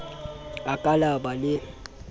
a ka la ba le